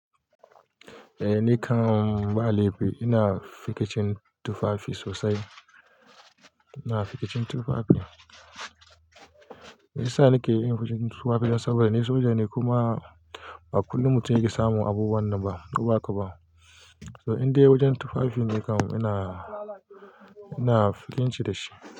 Eh, nikan ba laifi. Ina fikicin tufafi sosai. Ina fikicin tufafi. Me yasa nike yin fikicin tufafi? Dan saboda ni soja ni kuma ba kullum mutum yake samun abu wannan ba, ko ba ka ba. So in dai wajen tufafi nikan ina, ina fikinci da shi.